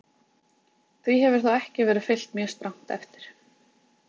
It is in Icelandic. því hefur þó ekki verið fylgt mjög strangt eftir